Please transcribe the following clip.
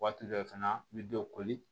Waati dɔ fana n bɛ dɔw koli